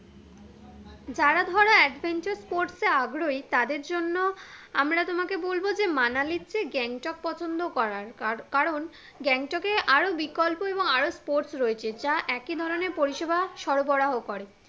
যারা ধরো adventure sports এ আগ্রহী তাদের জন্য আমরা তোমাকে বলবো যে মানালির চেয়ে গ্যাংটক পছন্দ করার তার কারণ গ্যাংটকে আরো বিকল্প এবং আরো sports রয়েছে যা একই ধরণের পরিষেবা সরবরাহ করে